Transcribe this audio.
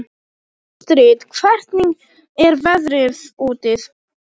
Astrid, hvernig er veðrið úti?